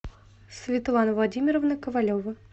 светлана владимировна ковалева